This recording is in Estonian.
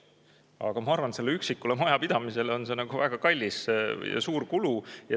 Aga ma arvan, et üksikule majapidamisele on see väga kallis, see on suur kulu.